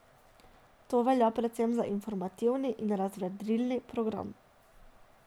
To velja predvsem za informativni in razvedrilni program.